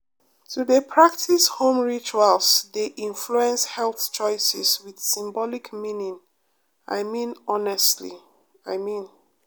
to dey practice home rituals dey influence health choices with symbolic meaning i mean honestly i mean.